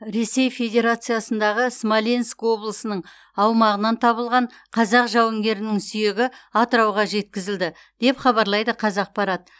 ресей федерациясындағы смоленск облысының аумағынан табылған қазақ жауынгерінің сүйегі атырауға жеткізілді деп хабарлайды қазақпарат